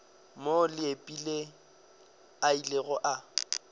moo leepile a ilego a